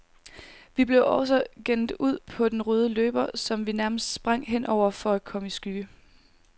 Vi blev også gennet ud på den røde løber, som vi nærmest sprang hen over, for at komme i skygge.